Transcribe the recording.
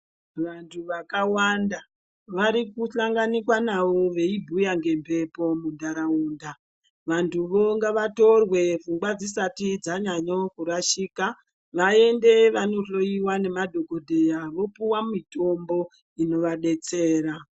Vantu vakawanda vari kuhlanganikwa navo veimbuuya ngemhepo muntaraunda vantuvo ngavatore pfungwa dzisati dzanyanye kurashika vaende vanohloyiwa nemadhogodheya vopiwa mutombo inovadetsera.